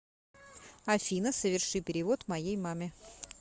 афина соверши перевод моей маме